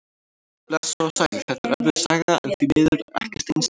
Blessuð og sæl, þetta er erfið saga en því miður ekkert einsdæmi.